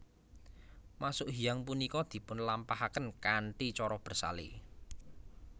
Masuk hiyang punika dipun lampahaken kanthi cara bersale